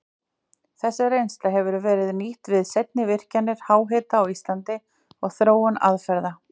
Þessi reynsla hefur verið nýtt við seinni virkjanir háhita á Íslandi og þróun aðferða.